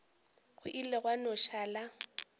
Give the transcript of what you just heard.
go ile gwa no šala